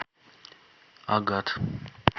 агат